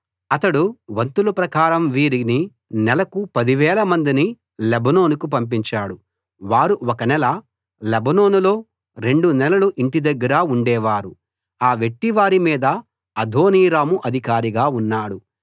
అతడు వంతుల ప్రకారం వీరిని నెలకు 10000 మందిని లెబానోనుకు పంపించాడు వారు ఒక నెల లెబానోనులో రెండు నెలలు ఇంటి దగ్గరా ఉండేవారు ఆ వెట్టివారి మీద అదోనీరాము అధికారిగా ఉన్నాడు